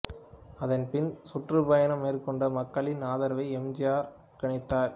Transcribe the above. அதன் பின் சுற்றுபயணம் மேற்கொண்டு மக்களின் ஆதரவை எம் ஜி ஆர் கணித்தார்